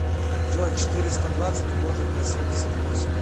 джой четыреста двадцать умножить на семьдесят восемь